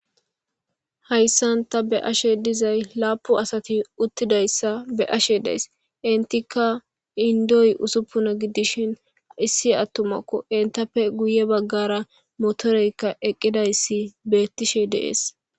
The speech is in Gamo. Hayssan ta bea'she dizzayi lapun assathi uttidayssa be'ishe dayss. Enttikka inddoy ussupuna gidishin issi atumakko entappe guye bagara motherekka eqidayssi bethishe de'ss.